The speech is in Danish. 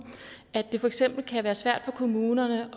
at det for eksempel kan være svært for kommunerne